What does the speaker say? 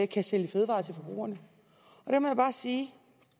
kan sælge fødevarer til forbrugerne der må jeg bare sige